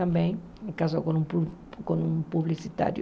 Também casou com um pu com um publicitário.